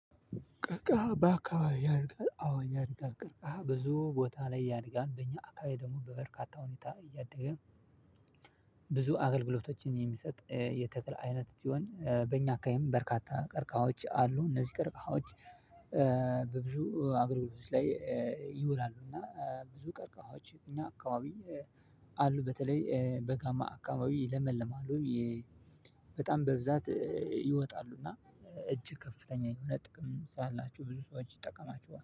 ቀርቃሃ ባከባቢ ያለ አዎ አለ ቀርቃሃ ብዙ ቦታ ላይ ያድጋል በኛ አካባቢ ደግሞ በበርካታ ሁኔታ እያደገ ብዙ አገልግሎቶችን የሚሰጥ የተክል አይነት ሲሆን በእኛ አካባቢም በርካታ ቀርቃሃዎች አሉ። እነዚህ ቀርቃሃዎች በብዙ አገልግሎቶች ላይ ይውላል። እና ብዙ ቀርቀሃዎች እኛ አካባቢ አሉ። በተለይ በጋማ አካባቢ ይለመልማሉ። በጣም በብዛት ይወጣሉ እና እጅግ ከፍተኛ የሆነ ጥቅም ስላላቸው ብዙ ሰዎች ይጠቀማችኋል